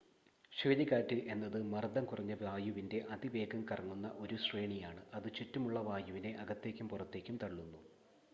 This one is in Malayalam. ചുഴലിക്കാറ്റ് എന്നത് മർദ്ദം കുറഞ്ഞ വായുവിൻറ്റെ അതിവേഗം കറങ്ങുന്ന ഒരു ശ്രേണിയാണ് അത് ചുറ്റുമുള്ള വായുവിനെ അകത്തേക്കും പുറത്തേക്കും തള്ളുന്നു